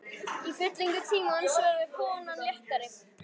Í fyllingu tímans verður konan léttari.